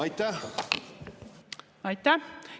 Aitäh!